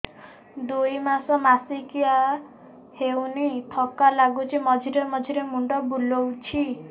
ଦୁଇ ମାସ ମାସିକିଆ ହେଇନି ଥକା ଲାଗୁଚି ମଝିରେ ମଝିରେ ମୁଣ୍ଡ ବୁଲୁଛି